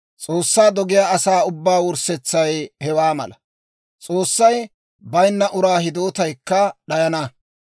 S'oossaa dogiyaa asaa ubbaa wurssetsay hewaa mala; S'oossay bayinna uraa hidootaykka d'ayana.